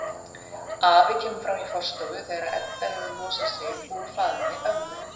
Afi kemur fram í forstofu þegar Edda hefur losað sig úr faðmi ömmu.